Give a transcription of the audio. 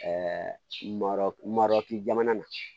marɔkun madɔ kun jamana na